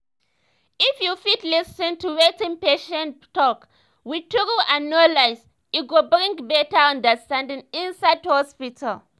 if you fit lis ten to wetin patient talk wit truth and no lies e go bring beta understanding inside hospital.